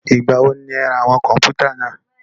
Ìgbà wo ni ẹ ra àwọn kọ̀npútà náà?